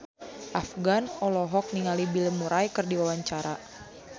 Afgan olohok ningali Bill Murray keur diwawancara